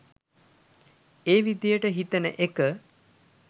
ඒ විදිහට හිතෙන එක